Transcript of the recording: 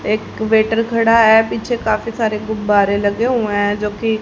एक वेटर खड़ा है पीछे काफी सारे गुब्बारे लगे हुए हैं जोकि--